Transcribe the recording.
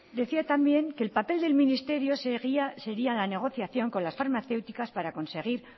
decía también que el papel del ministerio sería la negociación con las farmacéuticas para conseguir